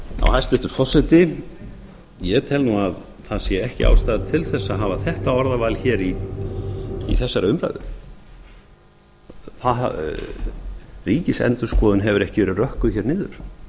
hæstvirtur forseti ég tel að það sé ekki ástæða til að hafa þetta orðaval í þessari umræðu ríkisendurskoðun hefur ekki verið rökkuð niður